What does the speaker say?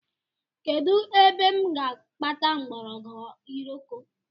Kedụ ebe m ga-akpata mgbọrọgwụ iroko?